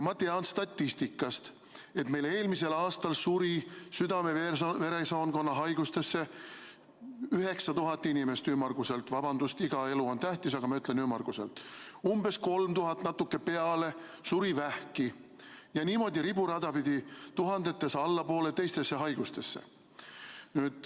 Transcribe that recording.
Ma tean statistikast, et meil eelmisel aastal suri südame- ja veresoonkonna haigustesse ümmarguselt 9000 inimest – vabandust, iga elu on tähtis, aga ütlen "ümmarguselt" –, umbes 3000 ja natuke peale suri vähki ja niimoodi riburada pidi tuhandetes allapoole suri teistesse haigustesse.